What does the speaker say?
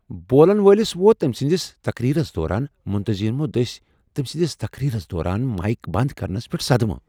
بولن وٲلِس ووت تمہِ سندِس تقریرس دوران منتظمینو دٕسۍ تمہِ سندِس تقریرس دوران مایك بند كرنس پیٹھ صدمہٕ ۔